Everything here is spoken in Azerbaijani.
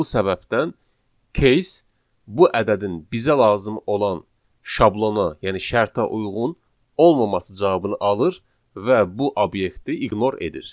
Və bu səbəbdən case bu ədədin bizə lazım olan şablona, yəni şərtə uyğun olmaması cavabını alır və bu obyekti ignore edir.